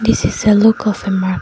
This is a look of a mar --